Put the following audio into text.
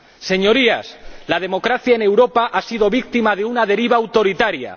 Señorías, la democracia en Europa ha sido víctima de una deriva autoritaria.